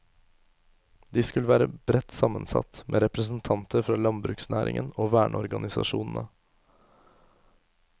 De skulle være bredt sammensatt, med representanter fra landbruksnæringen og verneorganisasjonene.